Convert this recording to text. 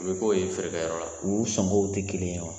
U bɛ k'o ye feerekɛyɔrɔ la ,u sɔngɔw tɛ kelen ye wa